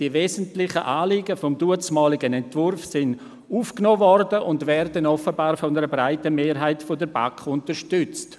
Die wesentlichen Anliegen des damaligen Entwurfs wurden aufgenommen und werden offenbar von einer breiten Mehrheit der BaK unterstützt.